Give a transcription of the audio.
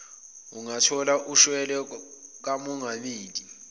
ungathola ushwele kamongameli